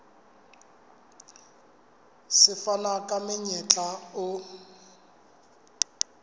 se fana ka monyetla o